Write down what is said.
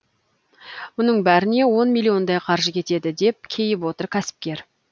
мұның бәріне он миллиондай қаржы кетеді деп кейіп отыр кәсіпкер